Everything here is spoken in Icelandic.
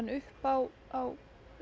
upp á á